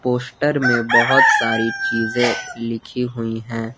Poster में बहोत सारी चीजे लिखी हुई है।